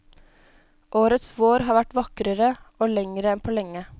Årets vår har vært vakrere og lengre enn på lenge.